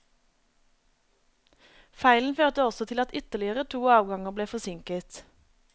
Feilen førte også til at ytterligere to avganger ble forsinket.